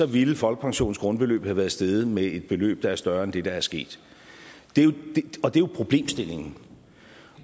ville folkepensionens grundbeløb have været steget med et beløb der er større end det der er sket det er jo problemstillingen